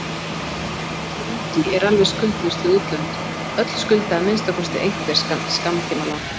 Ekkert ríki er alveg skuldlaust við útlönd, öll skulda að minnsta kosti einhver skammtímalán.